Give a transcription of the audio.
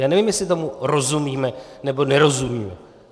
Já nevím, jestli tomu rozumíme, nebo nerozumíme.